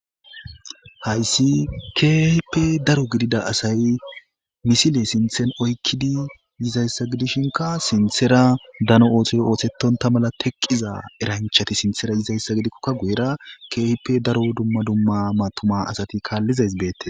hayssi kehipe daro gidida asay misile sinthen oykkidi yizayssa gidishinka sinthera dano ootoy oosettonta mala teqqiza eranchati sinthera yizayssa gidikkokka guyera khip daro dumma dumma maatuma asati kaallizays beette